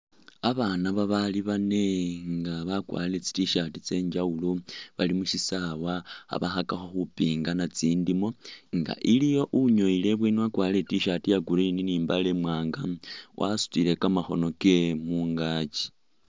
Abaana babaali baane nga bakwarire tsi t-shirt tse njawulo bali mu shisaawa khabakhakakho khupingana tsindiimo nga iliwo unyowele ibweeni wakwarire i't-shirt ya blue ni imbaale imwaanga wasutile kamakhono kewe khungaaki.